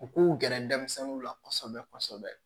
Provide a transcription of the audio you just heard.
U k'u gɛrɛ denmisɛnninw la kosɛbɛ kosɛbɛ